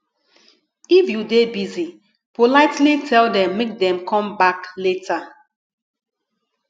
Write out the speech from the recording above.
if you dey busy politely tell them make dem conme back later